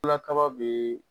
kaba be